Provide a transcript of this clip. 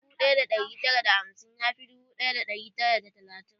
Dubu ɗaya da ɗari tara da hamsin ya fi dubu ɗaya da ɗari tara da talatin.